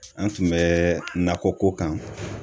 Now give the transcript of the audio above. An tun bɛ nakɔko kan.